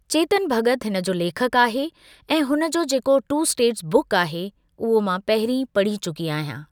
चेतन भॻत हिन जो लेखकु आहे ऐं हुन जो जेको टू स्टेट्स बुक आहे उहो मां पहिरीं पढ़ी चुकी आहियां।